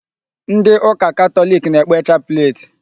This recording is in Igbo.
Ndị ụka Katọlik na-ekpe chaplet.